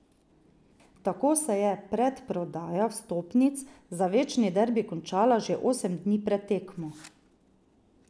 Tako se je predprodaja vstopnic za večni derbi končala že osem dni pred tekmo.